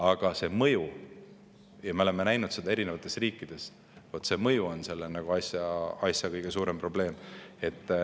Aga see mõju – ja me oleme näinud seda eri riikides – on kõige suurem probleem.